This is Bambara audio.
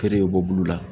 Feere bɛ bɔ bulu la